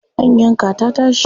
An yanka ta tashi.